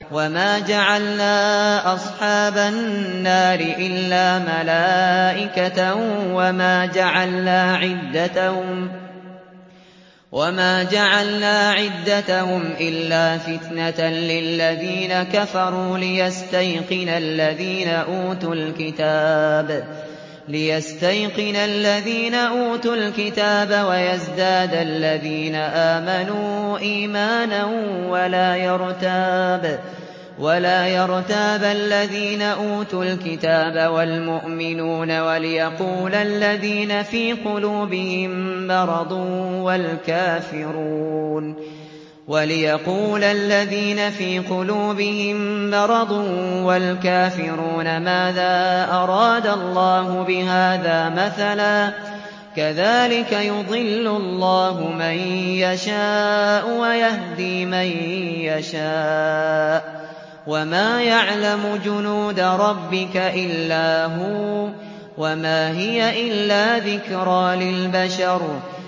وَمَا جَعَلْنَا أَصْحَابَ النَّارِ إِلَّا مَلَائِكَةً ۙ وَمَا جَعَلْنَا عِدَّتَهُمْ إِلَّا فِتْنَةً لِّلَّذِينَ كَفَرُوا لِيَسْتَيْقِنَ الَّذِينَ أُوتُوا الْكِتَابَ وَيَزْدَادَ الَّذِينَ آمَنُوا إِيمَانًا ۙ وَلَا يَرْتَابَ الَّذِينَ أُوتُوا الْكِتَابَ وَالْمُؤْمِنُونَ ۙ وَلِيَقُولَ الَّذِينَ فِي قُلُوبِهِم مَّرَضٌ وَالْكَافِرُونَ مَاذَا أَرَادَ اللَّهُ بِهَٰذَا مَثَلًا ۚ كَذَٰلِكَ يُضِلُّ اللَّهُ مَن يَشَاءُ وَيَهْدِي مَن يَشَاءُ ۚ وَمَا يَعْلَمُ جُنُودَ رَبِّكَ إِلَّا هُوَ ۚ وَمَا هِيَ إِلَّا ذِكْرَىٰ لِلْبَشَرِ